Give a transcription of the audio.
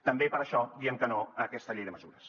també per això diem que no a aquesta llei de mesures